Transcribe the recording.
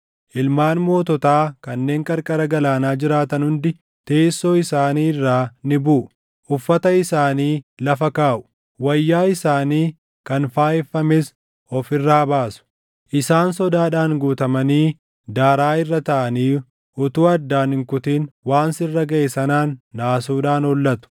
Ilmaan moototaa kanneen qarqara galaanaa jiraatan hundi teessoo isaanii irraa ni buʼu; uffata isaanii lafa kaaʼu; wayyaa isaanii kan faayeffames of irraa baasu. Isaan sodaadhaan guutamanii daaraa irra taaʼanii utuu addaan hin kutin waan sirra gaʼe sanaan naasuudhaan hollatu.